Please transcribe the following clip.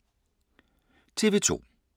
TV 2